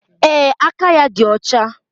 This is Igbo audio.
Ee, aka ya dị ọcha